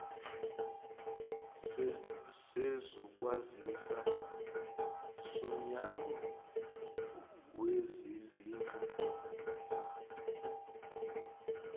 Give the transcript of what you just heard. sezokwazisa somnyango wezezindlu